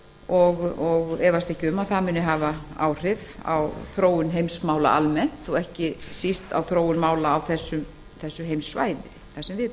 og efast ekki um að það muni hafa áhrif á þróun heimsmála almennt og ekki síst á þróun mála á því heimssvæði sem við